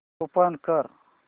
open कर